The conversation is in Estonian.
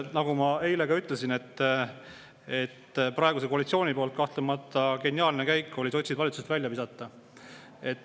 Nagu ma eile ütlesin, praeguse koalitsiooni poolt oli kahtlemata geniaalne käik sotsid valitsusest välja visata.